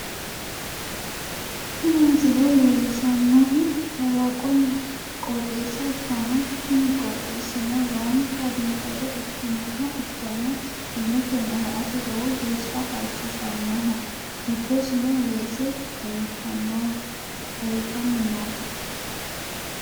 Tini misile leellishshannohu kalaqonna qooxeessa ikkanna, kuni qooxeessino lowontanni biifado ikkinoha ikkanna, illeteno la'ate lowo geeshsha halchishannoho, giddosino weese leeltannote.